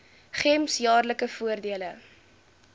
gems jaarlikse voordele